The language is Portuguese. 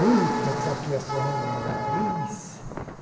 Muita saqueação, né Laís